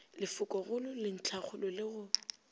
lefokogolo le ntlhakgolo le go